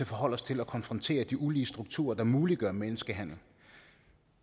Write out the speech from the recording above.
forholde os til og konfrontere de ulige strukturer der muliggør menneskehandel